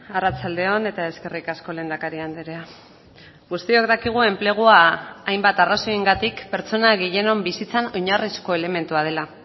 arratsaldeon eta eskerrik asko lehendakari andrea guztiok dakigu enplegua hainbat arrazoiengatik pertsona gehienon bizitzan oinarrizko elementua dela